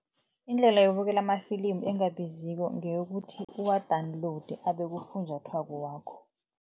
Indlela yokubukela ama-film engabiziko ngeyokuthi uwa-downloade abe kufunjathwako wakho.